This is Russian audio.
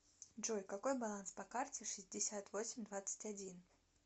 джой какой баланс по карте шестьдесят восемь двадцать один